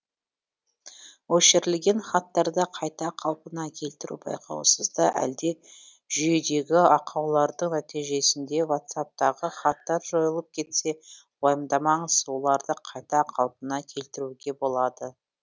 өшірілген хаттарды қайта қалпына келтіру байқаусызда әлде жүйедегі ақаулардың нәтижесінде ватсаптағы хаттар жойылып кетсе уайымдамаңыз оларды қайта қалпына келтіруге болады